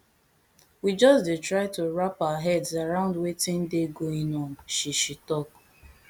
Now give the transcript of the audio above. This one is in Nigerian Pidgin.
we just dey try to wrap our heads around wetin dey going on she she tok